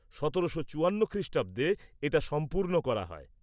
-১৭৫৪ খ্রিষ্টাব্দে এটা সম্পূর্ণ করা হয়।